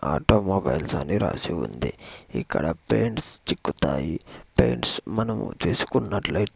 automobiles అని రాసి ఉంది ఇక్కడ పెయింట్స్ చిక్కుతాయి పెయింట్స్ మనము తీసుకున్నట్ల--